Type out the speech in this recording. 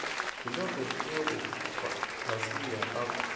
hiloko sturu pasiya a ku